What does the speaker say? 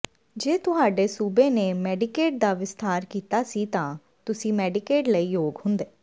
ਜੇ ਤੁਹਾਡੇ ਸੂਬੇ ਨੇ ਮੈਡੀਕੇਡ ਦਾ ਵਿਸਥਾਰ ਕੀਤਾ ਸੀ ਤਾਂ ਤੁਸੀਂ ਮੈਡੀਕੇਡ ਲਈ ਯੋਗ ਹੁੰਦੇ